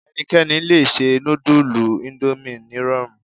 Ẹnikẹ́ni lè se nudulu Ondomie nírọ̀rùn